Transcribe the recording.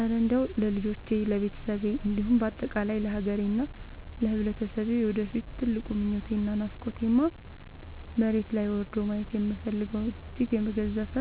እረ እንደው ለልጆቼ፣ ለቤተሰቤ እንዲሁም በአጠቃላይ ለሀገሬና ለማህበረሰቤ የወደፊት ትልቁ ምኞቴና ናፍቆቴማ፣ መሬት ላይ ወርዶ ማየት የምፈልገው እጅግ የገዘፈ